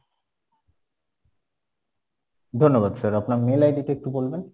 ধন্যবাদ sir, আপনার mail ID টা একটু বলবেন